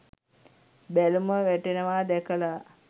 බැලුම වැටෙනවා දැකලා